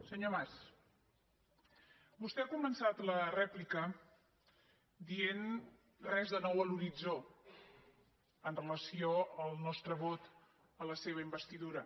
senyor mas vostè ha començat la rèplica dient res de nou a l’horitzó amb relació al nostre vot a la seva investidura